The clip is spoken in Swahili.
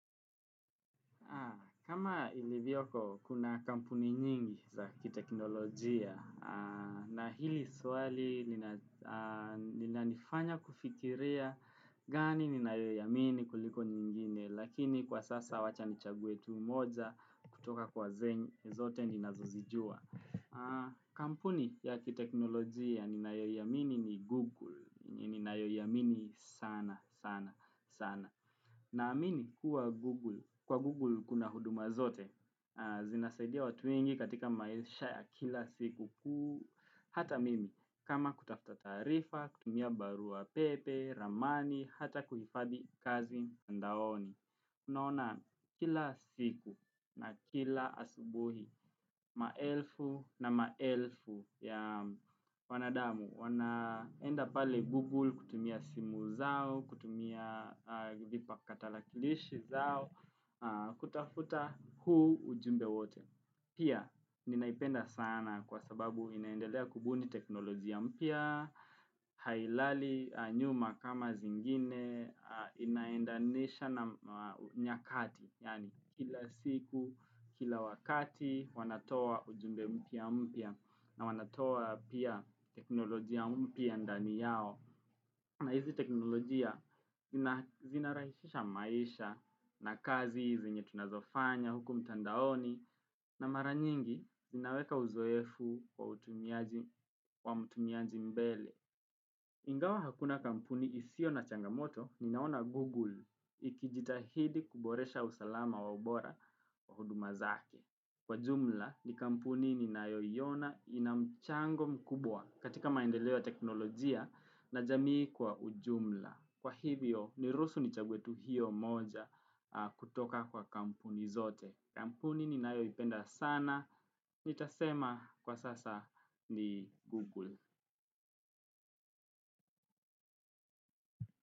Kama ilivyoko kuna kampuni nyingi za kiteknolojia na hili swali nina nifanya kufikiria gani ninayo iamini kuliko nyingine lakini kwa sasa wacha nichanue tu moja kutoka kwa zenye zote nina zozijua. Kampuni ya kiteknolojia ninayo iamini ni Google ninayoiamini sana sana sana. Na amini kuwa Google, kwa Google kuna huduma zote, zinasaidia watu wengi katika maisha ya kila siku ku, hata mimi, kama kutafta taarifa, kutumia barua pepe, ramani, hata kuhifadhi kazi mtandaoni. Unaona kila siku na kila asubuhi, maelfu na maelfu ya wanadamu wanaenda pale Google kutumia simu zao, kutumia vipa katalakilishi zao, kutafuta huu ujumbe wote. Pia ninaipenda sana kwa sababu inaendelea kubuni teknolojia mpya, Hailali nyuma kama zingine, inaendanisha na nyakati, yaani kila siku, kila wakati wanatoa ujumbe mpya mpya na wanatoa pia teknolojia mpya ndani yao. Na hizi teknolojia zinarahishisha maisha na kazi hizi zenye tunazofanya huku mtandaoni na maranyingi zinaweka uzoefu wa mtumiaji mbele. Ingawa hakuna kampuni isio na changamoto ninaona Google ikijitahidi kuboresha usalama wa ubora wa huduma zake. Kwa jumla ni kampuni ni nayo iona inamchango mkubwa katika maendeleo teknolojia na jamii kwa ujumla. Kwa hivyo ni ruhusu ni chague tu hiyo moja kutoka kwa kampuni zote. Kampuni ni nayo ipenda sana. Nitasema kwa sasa ni Google.